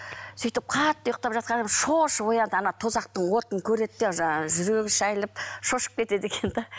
сөйтіп қатты ұйықтап жатқанда шошып оянады тозақтың отын көреді де жаңағы жүрегі шәйіліп шошып кетеді екен де